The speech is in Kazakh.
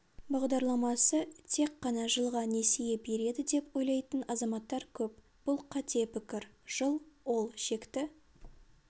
бағдарламасы тек қана жылға несие береді деп ойлайтын азаматтар көп бұл қате пікір жыл ол шекті